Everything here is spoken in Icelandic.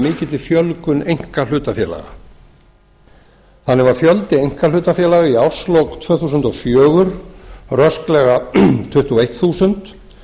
mikilli fjölgun einkahlutafélaga þannig var fjöldi einkahlutafélaga í árslok tvö þúsund og fjögur rösklega tuttugu og eitt þúsund